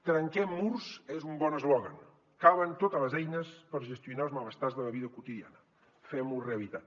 trenquem murs és un bon eslògan calen totes les eines per gestionar els malestars de la vida quotidiana fem ho realitat